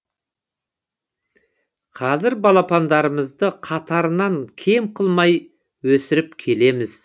қазір балапандарымызды қатарынан кем қылмай өсіріп келеміз